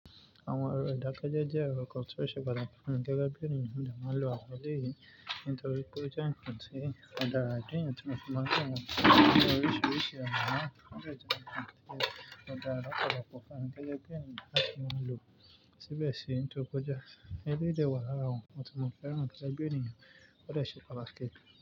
Àwọn èrò ìdákẹ́jẹ́ jẹ́ èrò kan tó ṣe pàtàkì fún mi gẹ́gẹ́ bí ènìyàn mo dẹ̀ máa ń lo àwọn eléyìí. Nítorí pé ó jẹ́ ǹkan tí ó dára jù nítorí ìfipá gbà gbọ́ wọn ní oríṣiríṣi ọ̀nà. Ó dẹ́ tún jẹ́ ǹkan tí ó dára lọ́pọ̀lọpọ̀ fún mi gẹ́gẹ́ bí ènìyàn ṣe máa ń lo síbẹ̀ síi nítorí pé ó jẹ́ ẹlẹ́yìí dè wà lárà àwọn ǹkan tí mo fẹ́ràn gẹ́gẹ́ bí ènìyàn ó dẹ̀ ṣe pàtàkì.